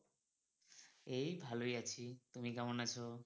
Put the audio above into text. এই ভালোই আছি, তুমি কেমন আছো?